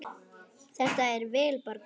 Þetta er vel borgað.